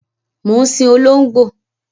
Mo ń sìn olóngbó